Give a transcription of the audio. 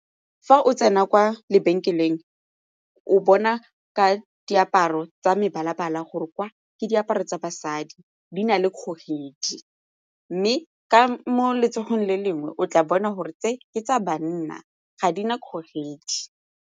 Fa o tsena kwa lebenkeleng o bona ka diaparo tsa mebala-bala gore kwa ke diaparo tsa basadi, di na le kgogedi mme ka mo letsogong le lengwe o tla bona gore tse ke tsa banna ga di na kgogedi.